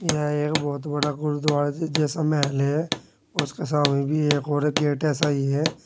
यह एक बहुत बड़ा गुरुद्वारा जैसा महल है उसके सामने भी एक और गेट ऐसा ही है।